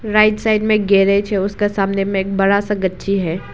Right side में garage है उसका सामने में एक बड़ा सा गच्ची है।